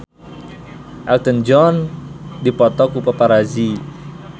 Elton John dipoto ku paparazi